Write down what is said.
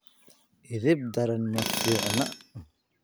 edeb daran ma fiicna